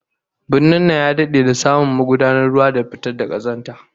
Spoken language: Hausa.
Birnin nan ya dade da samu magudanun ruwa da na fitar da kazanta